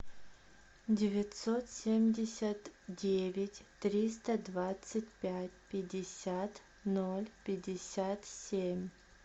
девятьсот семьдесят девять триста двадцать пять пятьдесят ноль пятьдесят семь